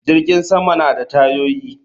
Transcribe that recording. Jirgin sama yana da tayoyi